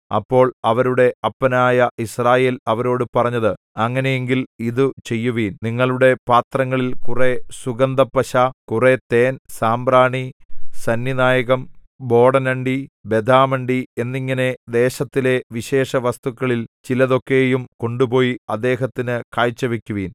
അപ്പോൾ അവരുടെ അപ്പനായ യിസ്രായേൽ അവരോടു പറഞ്ഞത് അങ്ങനെയെങ്കിൽ ഇതു ചെയ്യുവിൻ നിങ്ങളുടെ പാത്രങ്ങളിൽ കുറെ സുഗന്ധപ്പശ കുറെ തേൻ സാമ്പ്രാണി സന്നിനായകം ബോടനണ്ടി ബദാമണ്ടി എന്നിങ്ങനെ ദേശത്തിലെ വിശേഷവസ്തുക്കളിൽ ചിലതൊക്കെയും കൊണ്ടുപോയി അദ്ദേഹത്തിനു കാഴ്ചവയ്ക്കുവിൻ